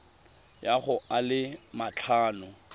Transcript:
ya go a le matlhano